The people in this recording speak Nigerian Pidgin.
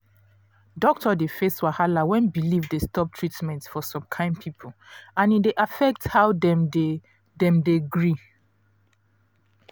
doctor dey face wahala when belief dey stop treatment for some kind people and e dey affect how dem dey dem dey gree